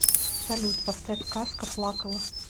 салют поставь казка плакала